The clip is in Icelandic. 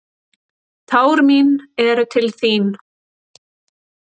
Tár mín eru til þín.